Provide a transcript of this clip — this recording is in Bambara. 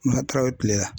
tileya